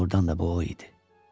Doğrudan da bu o idi.